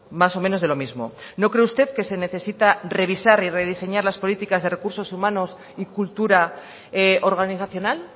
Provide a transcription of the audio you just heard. más o menos de lo mismo no cree usted que se necesita revisar y rediseñar las políticas de recursos humanos y cultura organizacional